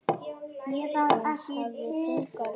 Hún hafði þunga rödd.